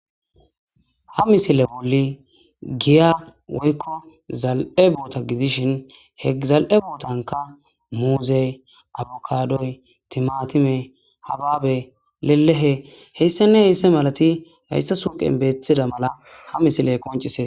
Ha misile wuli giya woykko zal'e boota gidishin he zal'e bootanka muuze abukadoy timatime habaabe lelehe heyssane heysse malati hayssa suuqen beethida mala ha misiley koncisee.